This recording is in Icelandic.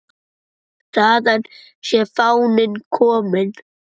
Þaðan sé fáninn kominn.